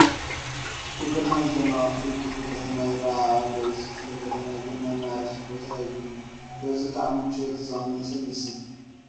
ብብርሃን ዝደመቐ ፍሉይ ክፍሊ ከተማ ይርአ ኣሎ፡፡ እዚ ክፍሊ ከተማ ግን ናይ መዕረፊ ቦታ የብሉን፡፡ በዚ ከዓ ምቾቱ ዝቐነሰ ይመስል፡፡